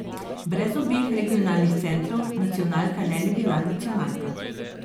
Brez obeh regionalnih centrov nacionalka ne bi bila nacionalka.